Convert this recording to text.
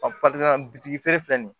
bitigi feere filɛ nin ye